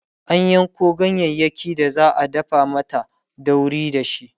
an Yanko ganyayaki da za'a dafa mata dauri dashi